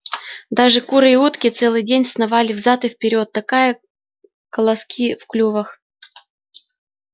даже куры и утки целый день сновали взад и вперёд такая колоски в клювах